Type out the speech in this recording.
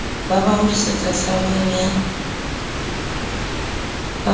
ba ba hodisetsa tshabong ya